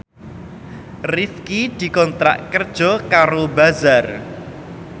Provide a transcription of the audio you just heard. Rifqi dikontrak kerja karo Bazaar